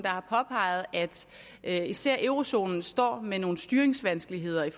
har påpeget at især eurozonen står med nogle styringsvanskeligheder i